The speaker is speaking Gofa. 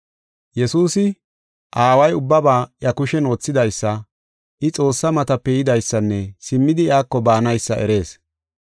Yesuusi Aaway ubbaba iya kushen wothidaysa, I Xoossaa matape yidaysanne simmidi iyako baanaysa eris.